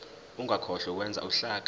ungakhohlwa ukwenza uhlaka